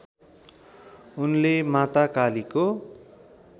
उनले माता कालीको